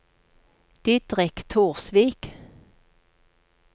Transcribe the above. Didrik Torsvik